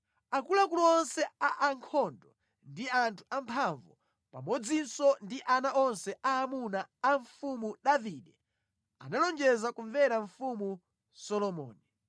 Akuluakulu onse a ankhondo ndi anthu amphamvu, pamodzinso ndi ana onse aamuna a mfumu Davide, analonjeza kumvera mfumu Solomoni.